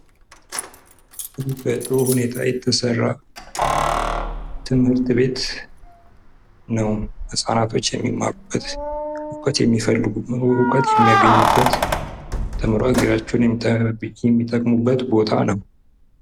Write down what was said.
ይህ በጥሩ ሁኔታ የተሰራ ትምህርት ቤት ነው ህፃናቶች የሚማሩበት ፥ እውቀት የሚፈልጉበት፥ እውቀት የሚያገኙበት ተምረው ሀገራቸውን የሚጠቅሙበት ቦታ ነው።